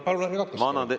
Palun ärge katkestage!